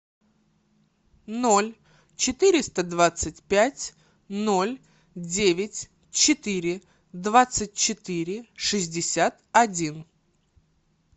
ноль четыреста двадцать пять ноль девять четыре двадцать четыре шестьдесят один